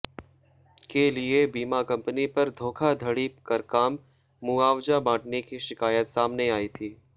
के लिए बीमा कंपनी पर धोखाधड़ी कर कम मुआवजा बांटने की शिकायत सामने आई थी